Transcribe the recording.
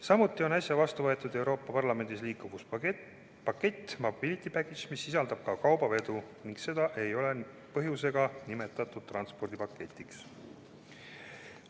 Samuti on Euroopa Parlamendis äsja vastu võetud liikuvuspakett "Mobility Package", mis hõlmab ka kaubavedu ning just seepärast ei ole seda nimetatud transpordipaketiks.